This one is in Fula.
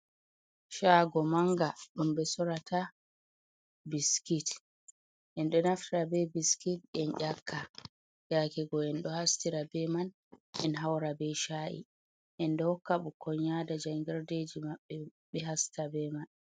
Shago manga ɗum ɓe sorata biskit, enɗo naftira be biskit en ƴaka, yakego enɗo hasitira be man en haura be sha’i, enɗo hokka ɓukkon yada jangirdeji maɓɓe ɓe hasita be man.